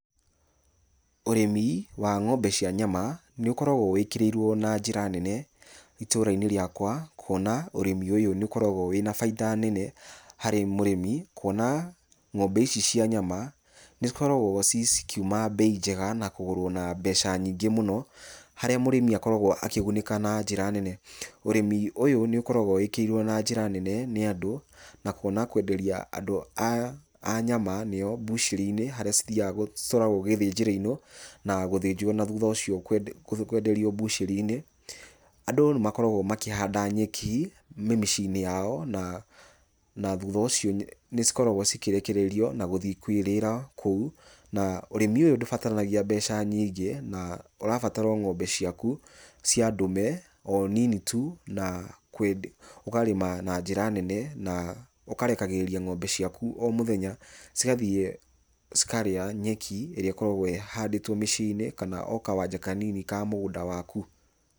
ũrĩmi wa ng'ombe cia nyama nĩ ũkoragwo wĩkĩrĩirwo na njĩra nene itũra-inĩ rĩakwa, kuona ũrĩmi ũyũ nĩ ũkoragwo na bainda nene harĩ mũrĩmi, kuona ng'ombe ici cia nyama nĩ cikoragwo cikiuma mbei njega na kũgũrwo mbeca nyingĩ mũno, harĩa mũrĩmi akoragwo akĩgunĩka na njĩra nene. Urĩmi ũyũ nĩ ũkoragwo wĩkĩrĩirwo na njĩra nene nĩ andũ, na kuona kwenderia andũ a nyama nĩo mbucĩri-inĩ harĩa cithiaga, citwaragwo gĩthĩnjĩro-inĩ na gũthĩnjwo na thũtha ũcio kwenderio mbucĩri-inĩ. Andũ nĩ makoragwo makĩhanda nyeki mĩciĩ-inĩ yao na thutha ũcio nĩ cikoragwo cikĩrekererio na gũthiĩ kwĩrĩra kũu na ũrĩmi ũyũ ndũbatarĩkanagio mbeca nyingĩ, na ũrabatara ng'ombe ciaku cia ndume o nini tu, na ũkarĩma na njĩra nene na ũkarekagĩrĩria ng'ombe ciaku o mũthenya cigathiĩ cikarĩa nyeki irĩa ikoragwo ihandĩtwo mĩciĩ-inĩ, kana o kawanja kanini ka mũgũnda waku.